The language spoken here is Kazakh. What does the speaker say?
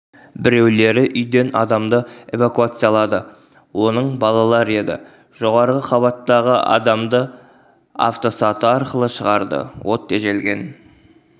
біреулері үйден адамды эвакуациялады оның балалар еді жоғары қабаттағы адамды автосаты арқылы шығарды от тежелген